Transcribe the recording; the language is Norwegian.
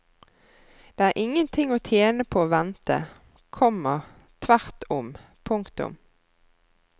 Det er ingenting å tjene på å vente, komma tvert om. punktum